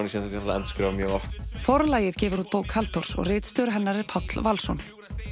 endurskrifa mjög oft Forlagið gefur út bók Halldórs og ritstjóri hennar er Páll Valsson